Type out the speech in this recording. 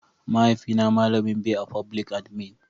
mahaifi na malamin be a foblik adimin